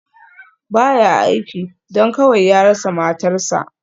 Ba ya aiki, don kawai ya rasa matarsa.